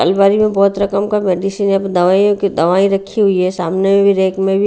अलमारी में बहुत रकम का मेडिसिन है दवाइयों की दवाई रखी हुई है सामने भी रैक में भी--